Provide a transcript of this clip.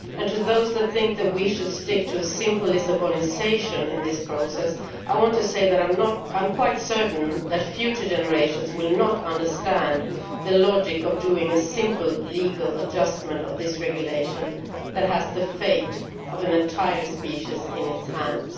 To those that think we should stick to simple Lisbonisation' in this process I want to say that I am quite certain that future generations will not understand the logic of doing a simple legal adjustment to this regulation which has the fate of an entire species in its hands.